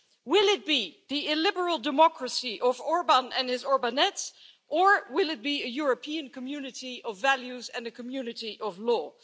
Will it be the illiberal democracy of Orbán and his Orbanettes or will it be a European community of values and a community of law?